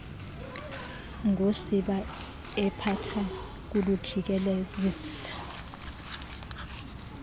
ngosiba ephatha kulujikelezisa